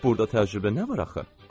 Burda təcrübə nə var axı?